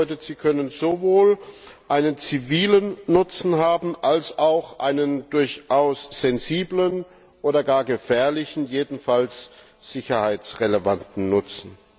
Das bedeutet, sie können sowohl einen zivilen Nutzen haben als auch einen durchaus sensiblen oder gar gefährlichen, jedenfalls sicherheitsrelevanten Nutzen.